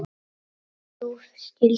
ljúf skylda.